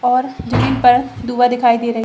और जमीन पर दिखाई दे रही --